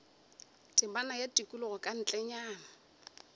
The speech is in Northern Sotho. temana ya tikologo ka ntlenyana